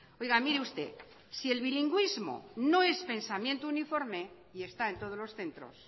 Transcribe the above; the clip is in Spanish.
oiga mire usted si el bilingüismo no es pensamiento uniforme y está en todos los centros